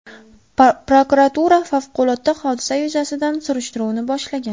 Prokuratura favqulodda hodisa yuzasidan surishtiruvni boshlagan.